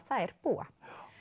þær búa